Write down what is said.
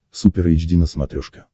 супер эйч ди на смотрешке